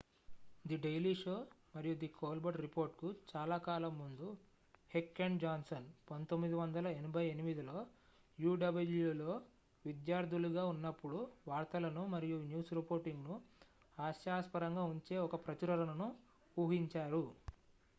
the daily show మరియు the Colbert report కు చాలా కాలం ముందు హెక్ అండ్ జాన్సన్ 1988లో uwలో విద్యార్థులుగా ఉన్నప్పుడు వార్తలను-మరియు న్యూస్ రిపోర్టింగ్ ను హాస్యాస్పరంగా ఉంచే ఒక ప్రచురణను ఊహించారు